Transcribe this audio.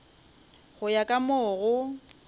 go ya ka mo go